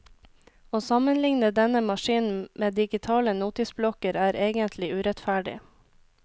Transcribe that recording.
Å sammenligne denne maskinen med digitale notisblokker er egentlig urettferdig.